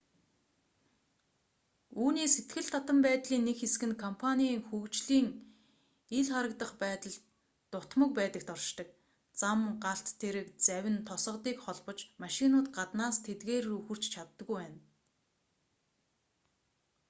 үүний сэтгэл татам байдлын нэг хэсэг нь компаний хөгжлийн ил харагдах байдал дутмаг байдагт оршдог зам галт тэрэг завь нь тосгодыг холбож машинууд гаднаас тэдгээр рүү хүрч чаддаггүй байна